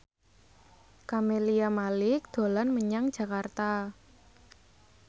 Camelia Malik dolan menyang Jakarta